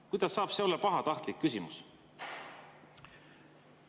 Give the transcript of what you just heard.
Kuidas saab see olla pahatahtlik küsimus?